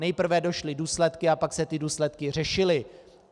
Nejprve došly důsledky, a pak se ty důsledky řešily.